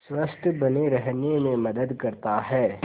स्वस्थ्य बने रहने में मदद करता है